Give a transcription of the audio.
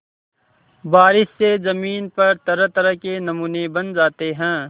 बारिश से ज़मीन पर तरहतरह के नमूने बन जाते हैं